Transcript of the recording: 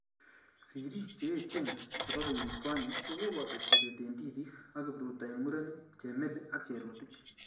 Sirik cheechen chebo kenyit konyei kokoboto Chebet eng tipik ak kipruto eng murenik chemeli ak cherotich